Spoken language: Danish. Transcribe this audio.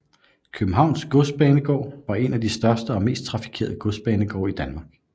Københavns Godsbanegård var en af de største og mest trafikerede godsbanegårde i Danmark